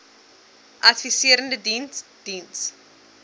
adviserende diens diens